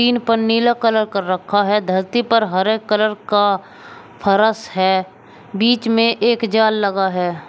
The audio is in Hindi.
टीन पर नीला कलर कर रखा है धरती पर हरे कलर का फरस है बीच में एक जाल लगा है।